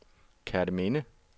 Kerteminde